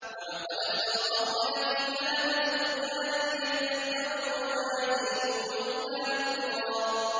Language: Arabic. وَلَقَدْ صَرَّفْنَا فِي هَٰذَا الْقُرْآنِ لِيَذَّكَّرُوا وَمَا يَزِيدُهُمْ إِلَّا نُفُورًا